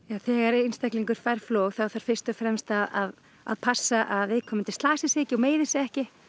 þegar einstaklingur fær flog þá þarf fyrst og fremst að að passa að viðkomandi slasi sig ekki og meiði sig ekki